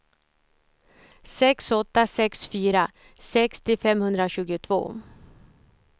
sex åtta sex fyra sextio femhundratjugotvå